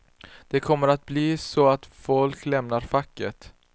Det kommer att bli så att folk lämnar facket.